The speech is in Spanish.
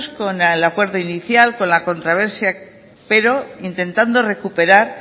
con el acuerdo inicial con la controversia pero intentando recuperar